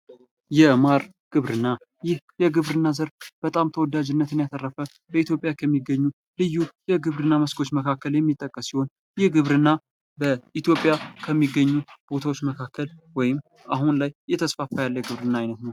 የማር ግብርና ፦ ይህ የግብርና ዘርፍ በጣም ተወዳጅነትን ያተረፈ ፣ በኢትዮጵያ ከሚገኙ ልዩ የግብርና መስኮች መካከል የሚጠቀስ ሲሆን ይህ ግብርና በኢትዮጵያ ከሚገኙ መካከል ቦታዎች ወይም አሁን ላይ እየተስፋፋ ያለ ግብርና ዓይነት ነው ።